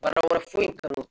Baara wɛrɛ foyi